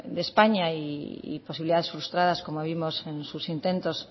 de españa y posibilidades frustradas como vimos en sus intentos